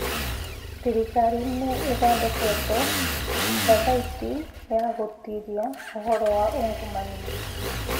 Thirkari nĩ ithondekete thathaitĩ ya gũtuĩria ũhoro wa ungumania